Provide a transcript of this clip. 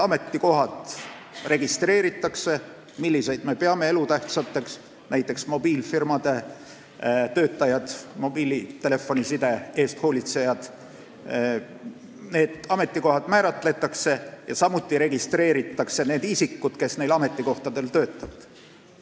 Määratakse kindlaks need ametikohad, mida me peame elutähtsaks , samuti registreeritakse need isikud, kes neil ametikohtadel töötavad.